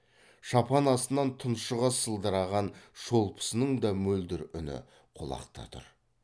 шапан астынан тұншыға сылдыраған шолпысының да мөлдір үні құлақта тұр